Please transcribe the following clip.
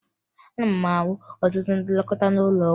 Ana m ahụ ọtụtụ ndị nlekọta n'ụlọ ọgwụ